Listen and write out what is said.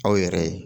Aw yɛrɛ ye